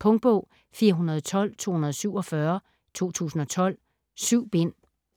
Punktbog 412247 2012. 7 bind.